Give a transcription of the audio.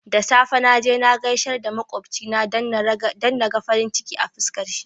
Da safe naje na gaishe da makocina dan naga farin ciki a fiskar shi